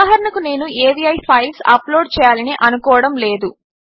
ఉదాహరణకు నేను అవి ఫైల్స్ అప్లోడ్ చేయాలని అనుకోవడము లేదు